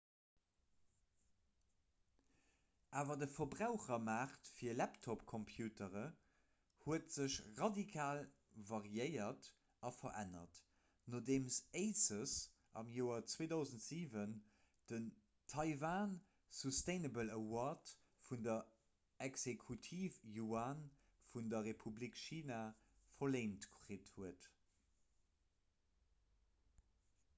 awer de verbrauchermaart fir laptopcomputere huet sech radikal variéiert a verännert nodeem asus am joer 2007 den taiwan sustainable award vun der exekutiv-yuan vun der republik china verléint kritt huet